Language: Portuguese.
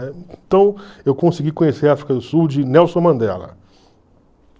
Então, eu consegui conhecer a África do Sul de Nelson Mandela.